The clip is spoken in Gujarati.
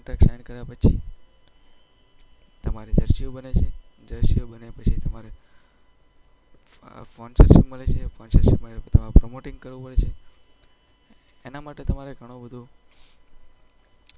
કોન્ટ્રાક્ટ સાઈન કર્યા પછી તમારે જર્સી બને છે. જર્સીઓ બન્યા પછી તમારે અમ સ્પોન્સરશિપ મળે છે. સ્પોન્સરશિપ મળ્યા પછી પ્રમોટિંગ કરવું પડે છે. એના માટે તમારે ઘણું બધુ